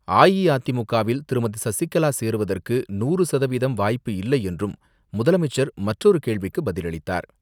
அஇஅதிமுகவில் திருமதி சசிகலா சேருவதற்கு நூறு சதவீதம் வாய்ப்பு இல்லை என்றும் முதலமைச்சர் மற்றொரு கேள்விக்கு பதிலளித்தார்.